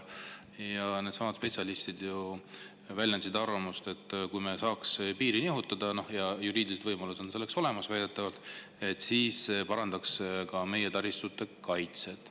Needsamad spetsialistid väljendasid arvamust, et kui me saaksime piiri nihutada – väidetavalt on juriidilised võimalused selleks olemas –, siis see parandaks ka meie taristute kaitset.